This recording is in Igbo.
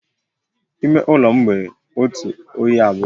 Ime ụlọ m nwe otu oyi abụọ